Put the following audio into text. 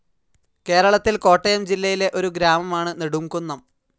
കേരളത്തിൽ കോട്ടയം ജില്ലയിലെ ഒരു ഗ്രാമമാണ്‌ നെടുംകുന്നം.